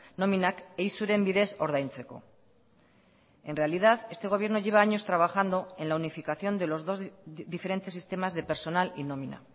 nominak eizuren bidez ordaintzeko en realidad este gobierno lleva años trabajando en la unificación de los dos diferentes sistemas de personal y nómina